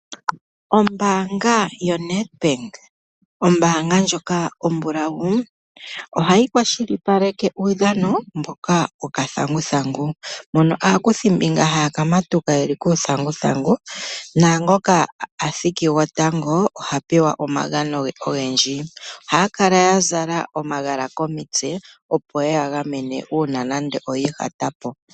Ombaka yo Nedbank ombaanga ndjoka ombulawu ohayi kwashilipaleke uudhamo mboka wo kathanguthangu mono aakuthimbinga haya kamatuka yeli kuuthanguthangu naangoka athiki gwotango ohapewa omagono ge ogendji. Ohaya kala yazala omagala komitse opo yeya gamene uuna nande oyi ihatapo.